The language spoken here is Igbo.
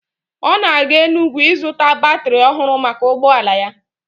Ọ na-aga Enugwu ịzụta batrị ọhụrụ maka ụgbọala ya.